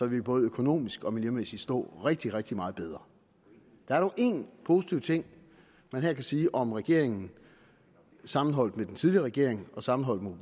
vi både økonomisk og miljømæssigt stå rigtig rigtig meget bedre der er dog én positiv ting man kan sige om regeringen sammenholdt med den tidligere regering og sammenholdt med